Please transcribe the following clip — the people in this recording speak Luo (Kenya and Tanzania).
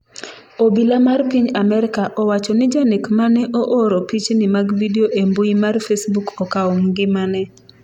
Obila mar piny Amerka owacho ni janek mane ooro pichni mag vidio e mbui mar facebook okawo ngimane